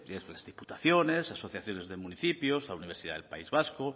pues la diputaciones asociaciones de municipios la universidad del país vasco